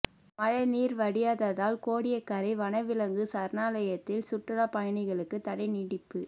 மழைநீர் வடியாததால் கோடியக்கரை வனவிலங்கு சரணாலயத்தில் சுற்றுலா பயணிகளுக்கு தடை நீட்டிப்பு